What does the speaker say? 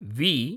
V